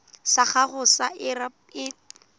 sa gago sa irp it